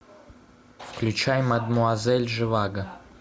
включай мадемуазель живаго